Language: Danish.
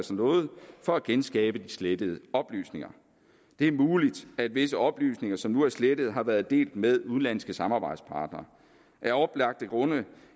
sig noget for at genskabe de slettede oplysninger det er muligt at visse oplysninger som nu er slettet har været delt med udenlandske samarbejdspartnere af oplagte grunde